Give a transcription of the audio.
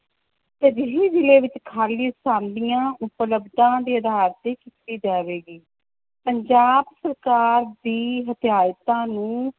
ਤਰਜੀਹੀ ਜ਼ਿਲ੍ਹੇ ਵਿੱਚ ਖਾਲੀ ਆਸਾਮੀਆਂ ਉਪਲਬਧਾਂ ਦੇ ਆਧਾਰ ਤੇ ਕੀਤੀ ਜਾਵੇਗੀ, ਪੰਜਾਬ ਸਰਕਾਰ ਦੀ ਹਦਾਇਤਾਂ ਨੂੰ